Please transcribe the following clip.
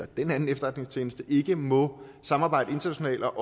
den anden efterretningstjeneste ikke må samarbejde internationalt